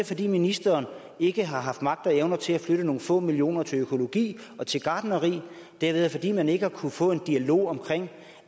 fordi ministeren ikke har haft magt og evner til at flytte nogle få millioner kroner til økologi og til gartneri eller fordi man ikke har kunnet få en dialog om